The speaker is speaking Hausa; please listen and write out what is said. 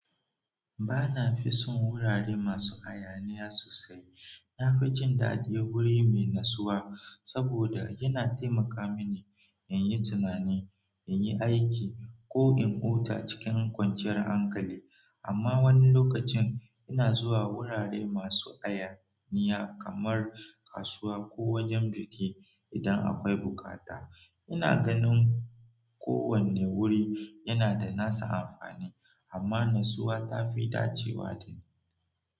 Bana fi son wurare masu hayaniya sosai. Nafi jin daɗin wuri mai natsuwa saboda yana taimaka mini in yi tunani, in yi aiki ko in huta cikin kwanciyar hankali. Amma wani lokacin ina zuwa wurare masu hayaniya kamar kasuwa ko wajen biki idan akwai bukata. Ina ganin kowane wuri yana da nasa amfani, amma natsuwa ta fi dacewa da ni.